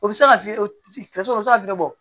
O bɛ se ka fiyɛ o bɛ se ka fiɲɛ bɔ